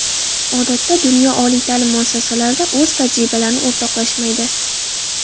Odatda dunyo oliy ta’lim muassasalarida o‘z tajribalarini o‘rtoqlashmaydi.